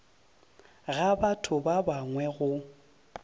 ga batho ba bangwe go